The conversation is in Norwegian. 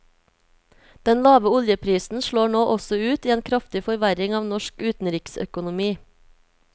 Den lave oljeprisen slår nå også ut i en kraftig forverring av norsk utenriksøkonomi.